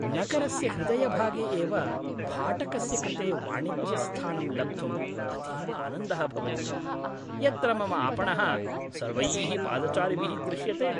नगरस्य हृदयभागे एव भाटकस्य कृते वाणिज्यस्थानं लब्धुम् अतीव आनन्दः भवति, यत्र मम आपणः सर्वैः पादचारिभिः दृश्यते।